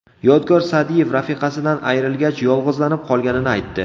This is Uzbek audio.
Yodgor Sa’diyev rafiqasidan ayrilgach yolg‘izlanib qolganini aytdi.